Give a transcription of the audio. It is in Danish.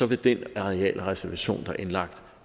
vil den arealreservation der er indlagt